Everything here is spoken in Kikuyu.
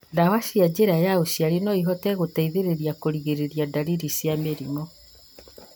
Ndawa cia njĩra ya uciari noihote gũteithia kũrigĩrĩria ndariri cia mĩrimũ